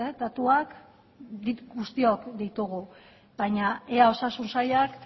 datuak guztiok ditugu baina ea osasun sailak